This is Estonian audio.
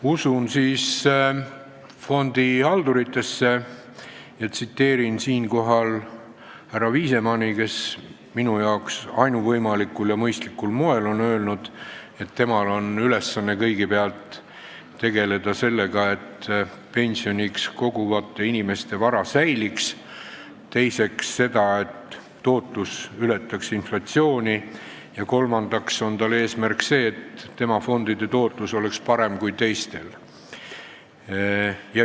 Usun fondihalduritesse ja tsiteerin härra Viisemanni, kes minu arvates on ainuvõimalikul ja mõistlikul moel öelnud, et tema ülesanne on kõigepealt tegeleda sellega, et pensioni koguvate inimeste vara säiliks, teiseks sellega, et tootlus ületaks inflatsiooni, ja kolmandaks on tema eesmärk see, et tema fondide tootlus oleks parem kui teistel.